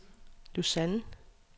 Lausanne